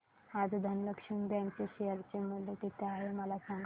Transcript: आज धनलक्ष्मी बँक चे शेअर चे मूल्य किती आहे मला सांगा